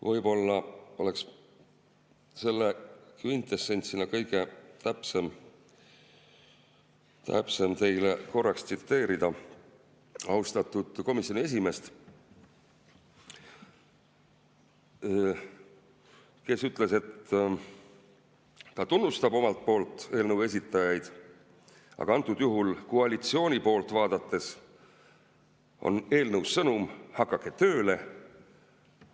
Võib-olla oleks selle kvintessentsina kõige täpsem teile korraks tsiteerida austatud komisjoni esimeest, kes ütles, et ta tunnustab omalt poolt eelnõu esitajaid, aga antud juhul koalitsiooni poolt vaadates on eelnõus sõnum: hakake tööle!